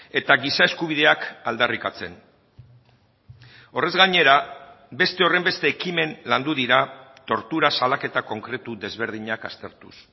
eta giza eskubideak aldarrikatzen horrez gainera beste horrenbeste ekimen landu dira tortura salaketa konkretu desberdinak aztertuz